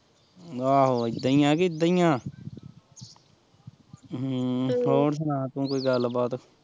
ਆਹੋ ਇੱਦਾਂ ਈ ਕਿ ਇੱਦਾਂ ਈ ਐ ਹਮ ਹੋਰ ਸੁਣਾ ਤੂੰ ਕੋਈ ਗੱਲ ਬਾਤ?